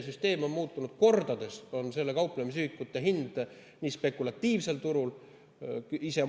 Kordades on muutunud kauplemisühikute hind spekulatiivsel turul.